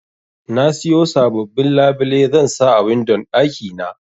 Nasiyo sababbin labile zansa a windon ɗaki na.